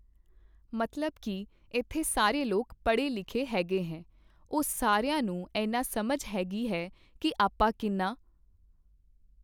ਮਤਲਬ ਕੀ ਇੱਥੇ ਸਾਰੇ ਲੋਕ ਪੜ੍ਹੇ ਲਿਖੇ ਹੈਗੇ ਹੈ ਉੁਹ ਸਾਰਿਆਂ ਨੂੰ ਐਨਾ ਸਮਝ ਹੈਗੀ ਹੈ ਕੀ ਆਪਾਂ ਕਿੰਨਾ